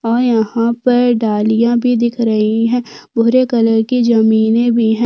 और यहाँ पर डालियाँ भी दिख रही है भूरे कलर की जमीन हैं।